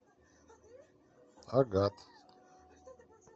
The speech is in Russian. агат